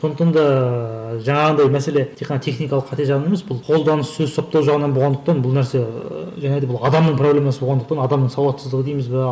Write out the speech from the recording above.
сондықтан да жаңағындай мәселе тек қана техникалық қате жағынан емес бұл қолданыс сөз саптау жағынан болғандықтан бұл нәрсе ыыы және де бұл адамның проблемасы болғандықтан адамның сауатсыздығы дейміз бе